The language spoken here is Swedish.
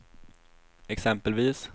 exempelvis